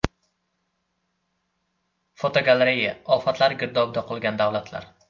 Fotogalereya: Ofatlar girdobida qolgan davlatlar.